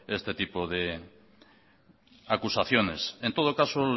este tipo de acusaciones en todo caso